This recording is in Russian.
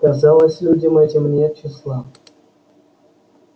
казалось людям этим нет числа